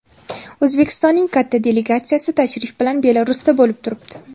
O‘zbekistonning katta delegatsiyasi tashrif bilan Belarusda bo‘lib turibdi.